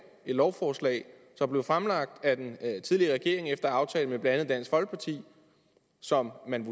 lovforslag der blev fremlagt af den tidligere regering efter aftale med blandt andet dansk folkeparti som man